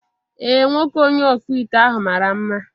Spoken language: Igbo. Ee, nwoke onye ọkpụ ite ahụ mara mma